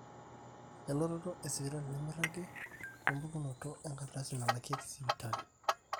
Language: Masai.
elototo esipitali nemeiragi wempukunoto enkardasi nalakieki sipitali